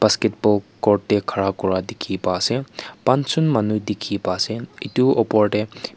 basketball court teh kara kura teki pai ase pangschun manu teki pai asebeto opor teh.